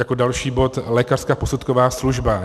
Jako další bod lékařská posudková služba.